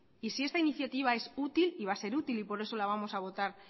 y si esta iniciativa es útil y va a ser útil y por eso la vamos a votar